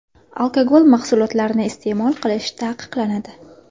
Alkogol mahsulotlarini iste’mol qilish taqiqlanadi.